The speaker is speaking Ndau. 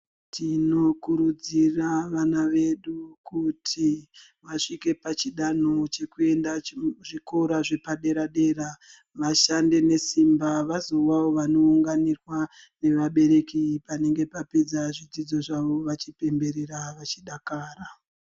Tinokurudzira vana vedu kuti vasvike pachidanho chekuenda zvikora zvepadera-dera vashande nesimba vazovawo vanounganirwa nevabereki panenge papedza zvidzidzo zvavo vachipemberera vachidakara.